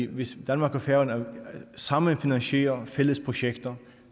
hvis danmark og færøerne sammen finansierer fælles projekter